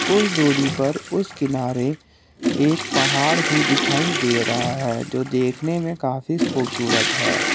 कुछ दूरी पर उस किनारे एक पहाड़ भी दिखाई दे रहा है जो देखने में काफी खूबसूरत है।